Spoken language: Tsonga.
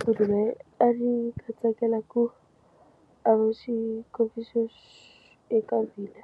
Kumbe a ndzi nga tsakela ku a va xikombiso eka hina